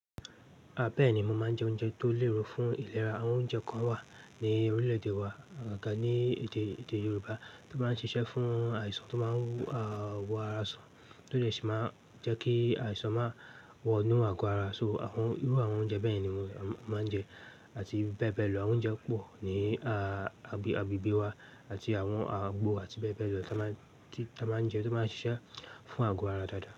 Bẹ́ẹ̀ ni mo máa ń jẹ oúnjẹ tó lérò fún ìlera. Àwọn oúnjẹ kan wà ní orílè-èdè wa awon kan ní èdè, èdè Yoruba tó máa ń ṣiṣẹ́ fún àìsàn tó máa ń, ah, wo ara san, tó lè sì máa jẹ́ kí àìsàn máa wọ inú àgọ́ ara. So àwọn irú àwọn oúnjẹ bẹ́ yen ni mo máa ń jẹ, àti bẹ́ẹ̀ bẹ́ẹ̀ lọ. Àwọn oúnjẹ pọ̀ ní, agbe agbegbe wa àti àwọn àgbo àti bẹ́ẹ̀ bẹ́ẹ̀ lọ tan ma n tan máa ń jẹ tó máa ń ṣiṣẹ́ fún àgọ́ ara dáadáa.